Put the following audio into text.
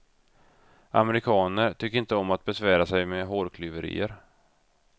Amerikaner tycker inte om att besvära sig med hårklyverier.